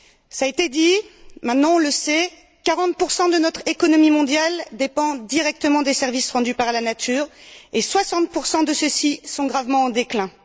Cela a été dit maintenant on le sait 40 de notre économie mondiale dépendent directement des services rendus par la nature et 60 de ceux ci sont gravement en déclin.